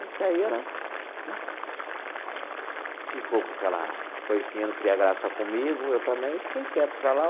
Até aí ela, né, ficou com aquela coisinha, não queria graça comigo, eu também fiquei quieto para lá.